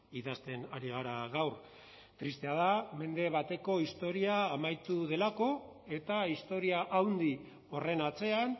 idazten ari gara gaur tristea da mende bateko historia amaitu delako eta historia handi horren atzean